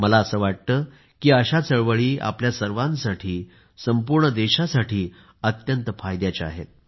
मला असे वाटते की अशा चळवळी आपल्या सर्वांसाठी संपूर्ण देशासाठी अत्यंत फायद्याच्या आहेत